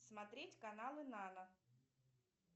смотреть каналы нано